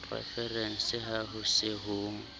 referense ha ho se ho